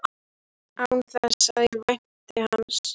Án þess að ég vænti hans.